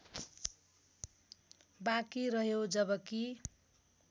बाँकी रह्यो जबकि